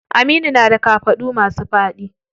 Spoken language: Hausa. Aminu na da kafaɗu masu faɗi.